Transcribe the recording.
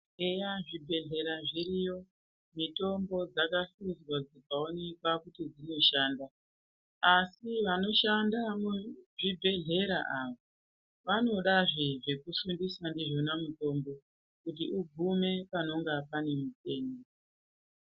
Eya zvibhehlera zviriyo mitombo yakahluzwa dzikaoneka kuti dzinoshanda ASI vanoshanda muzvibhehlera avo avodazve zvekusukisa ndizvo mitombo kuti ugume panenge paneutenda